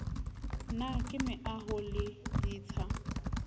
na ke meaoho le ditsha